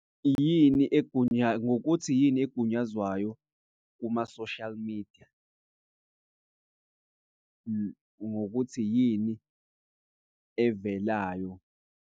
Yini ngokuthi yini egunyazwayo kuma-social media ngokuthi yini evelayo.